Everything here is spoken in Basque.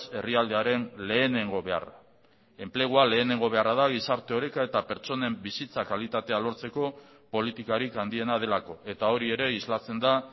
herrialdearen lehenengo beharra enplegua lehenengo beharra da gizarte oreka eta pertsonen bizitza kalitatea lortzeko politikarik handiena delako eta hori ere islatzen da